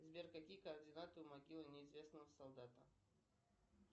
сбер какие координаты у могилы неизвестного солдата